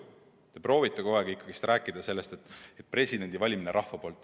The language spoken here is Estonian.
Te proovite kogu aeg rääkida ikkagi sellest, et presidendi peaks valima rahvas.